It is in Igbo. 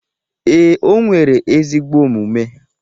Ee, o nwere ezigbo omume